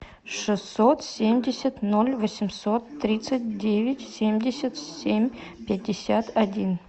шестьсот семьдесят ноль восемьсот тридцать девять семьдесят семь пятьдесят один